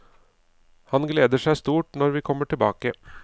Han gleder seg stort når vi kommer tilbake.